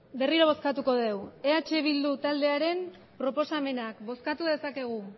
berriro bozkatuko dugu eh bildu taldearen proposamenak bozkatu dezakegu